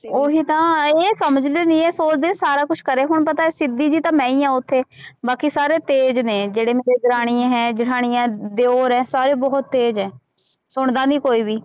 ਉਹੀ ਤਾਂ ਇਹ ਸਮਝਦੇ ਨੀ ਹੈ ਸੋਚਦੇ ਸਾਰਾ ਕੁਛ ਕਰੇ, ਹੁਣ ਪਤਾ ਹੈ ਸਿੱਧੀ ਜਿਹੀ ਤਾਂ ਮੈਂ ਹੀ ਹਾਂ ਉੱਥੇ ਬਾਕੀ ਸਾਰੇ ਤੇਜ਼ ਨੇ ਜਿਹੜੇ ਮੇਰੇ ਦਰਾਣੀਆਂ ਹੈ, ਜੇਠਾਣੀਆਂ, ਦਿਓਰ ਹੈ ਸਾਰੇ ਬਹੁਤ ਤੇਜ਼ ਹੈ, ਸੁਣਦਾ ਨੀ ਕੋਈ ਵੀ।